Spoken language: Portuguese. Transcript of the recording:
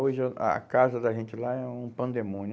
Hoje o a casa da gente lá é um pandemônio.